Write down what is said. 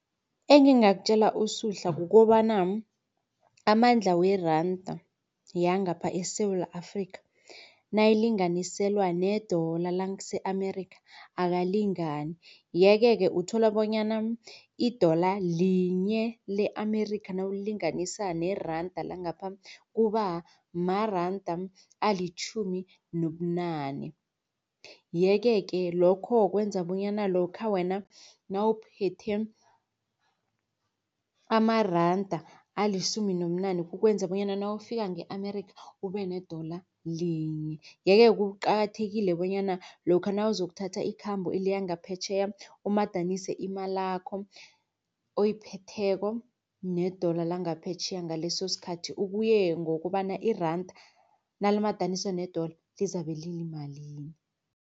Engingakutjela uSuhla kukobana amandla weranda yangapha eSewula Afrika nayilinganiselwa ne-dollar lase-Amerika akalingani. Yeke-ke uthola bonyana i-dollar linye le-Amerika nakulinganisa neranda langangapha kubamaranda alitjhumi nobunane. Yeke-ke lokho kwenza bonyana lokha wena nawuphethe amaranda alisumi nobunane kukwenza bonyana nawufika nge-Amerika ube-dollar linye. Yeke kuqakathekile bonyana lokha nakuzokuthatha ikhambo eliyangaphetjheya umadanise imalakho oyiphetheko ne-dollar langaphetjheya ngaleso sikhathi kuye ngokobana iranda nalimadaniswa ne-dollar lizabe liyimalini.